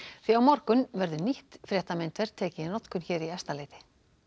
því á morgun verður nýtt tekið í notkun hér í Efstaleiti